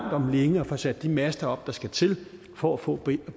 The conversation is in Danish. om længe at få sat de master op der skal til for at få